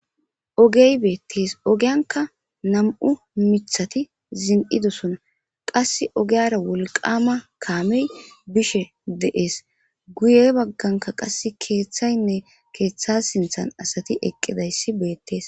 Ogey beetesi , ogiyanika nam'u mithati zon'idosona ,qasi ogiyara wolqama kaameyi bishe de'esi, guye baganka qasi keethaynne keetha sinthani asati eqidaysi beetesi